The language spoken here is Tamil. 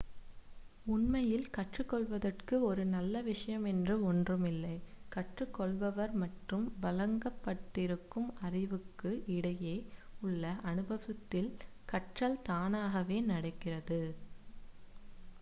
உண்மையில் கற்றுக்கொள்வதற்கு ஒரு நல்ல விஷயம் என்ற ஒன்று இல்லை கற்றுக்கொள்பவர் மற்றும் வழங்கப்பட்டிருக்கும் அறிவுக்கும் இடையே உள்ள அனுபவத்தில் கற்றல் தானாகவே நடக்கிறது